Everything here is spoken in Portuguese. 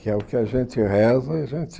Que é o que a gente reza e a gente...